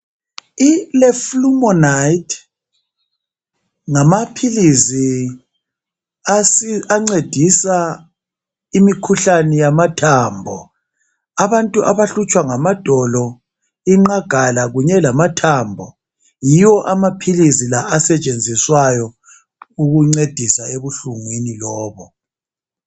Ileflumonide ngamaphilizi asiza ancedisa imikhuhlane yamathambo abantu abahlutshwa ngamadolo inqagala okunye lamathambo yiwo amaphilizi la asetshenziswayo ukuncedisa ebuhlungwini lobo